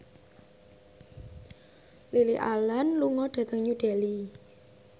Lily Allen lunga dhateng New Delhi